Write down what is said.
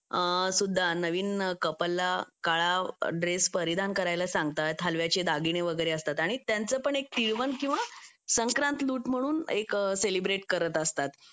त्यादिवशी सुद्धा नवीन कपल ला काळा ड्रेस परिधान करायला सांगतात हलव्याचे दागिने वगैरे असतात आणि त्यांचं पण एक तिळवण किंवा संक्रांत लूट म्हणून एक सेलिब्रेट करत असतात